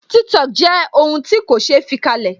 Tiktok jẹ́ ohun ti ko se fi kalẹ̀